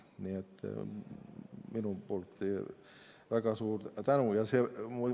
Nii et minu väga suur tänu.